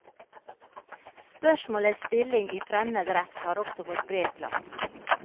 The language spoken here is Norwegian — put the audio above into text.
Spørsmålets stilling i fremmed rett har også fått bred plass.